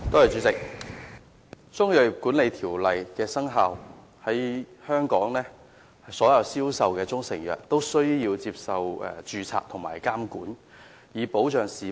自《中醫藥條例》生效後，在香港銷售的所有中成藥均須註冊並受到監管，以保障市民。